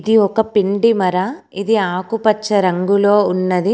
ఇది ఒక పిండి మర. ఇది ఆకుపచ్చ రంగులో ఉన్నది.